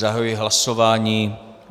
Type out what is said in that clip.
Zahajuji hlasování.